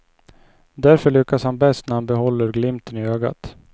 Därför lyckas han bäst när han behåller glimten i ögat.